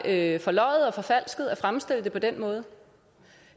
er forløjet og forfalsket at fremstille det på den måde